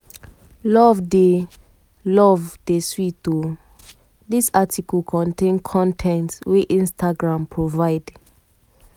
love dey love dey sweet o. dis article contain con ten t wey instagram provide.